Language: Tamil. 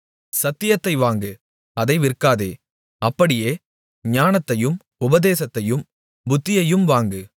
சத்தியத்தை வாங்கு அதை விற்காதே அப்படியே ஞானத்தையும் உபதேசத்தையும் புத்தியையும் வாங்கு